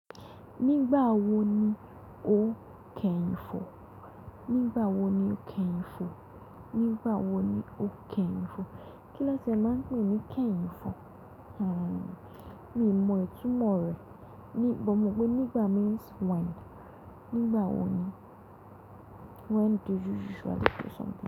Nígbà wo ni o kẹhìn fò? Nígbà wo ni o kẹhìn fò? Nígbà wo ni o kẹhìn fò? Kí lóti a máa ń pè ní kẹhìn fò? Hmmm mi mọ ìtumọ̀ rẹ̀, ní-- but mo mọ pé nígbà means when. Nígbà wo ni? When do you usually do something.